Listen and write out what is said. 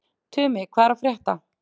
Tumi, hvað er að frétta?